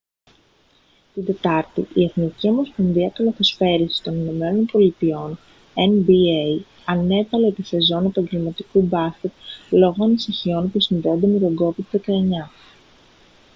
την τετάρτη η εθνική ομοσπονδία καλαθοσφαίρισης των ηνωμένων πολιτειών nba ανέβαλε τη σεζόν επαγγελματικού μπάσκετ λόγω ανησυχιών που συνδέονται με τον covid-19